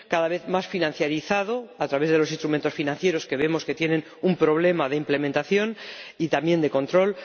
cada vez más financializado, a través de los instrumentos financieros que, como vemos, tienen un problema de implementación y también de control